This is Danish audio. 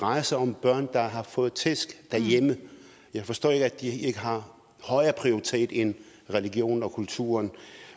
drejer sig om børn der har fået tæsk derhjemme jeg forstår ikke at ikke har en højere prioritet end religionen og kulturen